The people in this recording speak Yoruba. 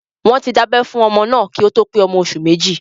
Wọ́n ti dá abẹ́ fún ọmọ náà kí ó tó pé ọmọ oṣù méjì